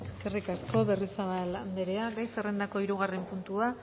eskerrik asko berriozabal andrea gai zerrendako hirugarren puntua